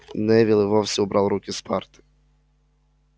невилл и вовсе убрал руки с парты